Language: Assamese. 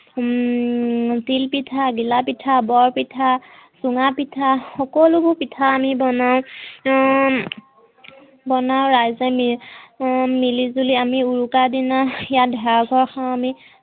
হম তিল পিঠা, দিলা পিঠা, বৰপিঠা, চুঙাপিঠা সকলোবোৰ পিঠা আমি বনাওঁ। উম বনাওঁ ৰাইজে মি হম মিলিজুলি আমি উৰুকাৰ দিনা ইয়াত ভেলাঘৰত খাও আমি